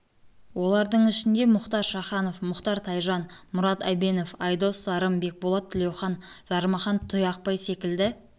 олардың ішінде мұхтар шаханов мұхтар тайжан мұрат әбенов айдос сарым бекболат тілеухан жармахан тұяқбай секілді